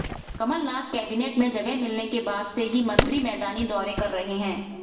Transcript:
Kamal Nath cabinet में जगह मिलने के बाद से ही मंत्री मैदानी दौरे कर रहे हैं